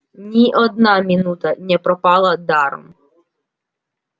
ни одна минута не пропала даром